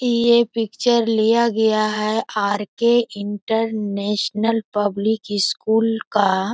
ये पिक्चर लिया गया है R. K. International public school का।